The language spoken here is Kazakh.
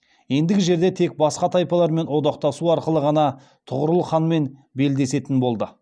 ендігі жерде тек басқа тайпалармен одақтасу арқылы ғана тұғырыл ханмен белдесетін болды